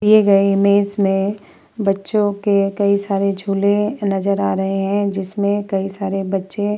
दिए गए इमेज़ में बच्चों के कई सारे झूले नजर आ रहे हैं जिसमें कई सारे बच्चे --